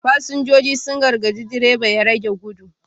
Fasinjojin sun gargadi direban ya rage gudu